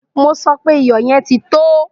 Mo sọ pé iyò̩ ye̩n ti tó!